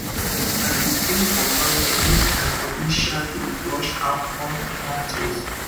ehn i dey drink water well make my body um dey flush out all the bad things